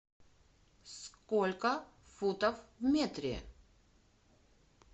сколько футов в метре